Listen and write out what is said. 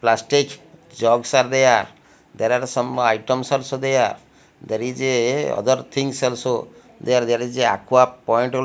plastage jogs are there there are some items also there there is a other things also there there is aqua point al--